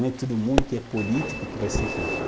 Não é todo mundo que é político que vai ser rico.